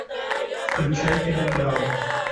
включай переправа